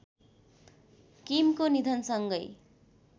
किमको निधनसँगै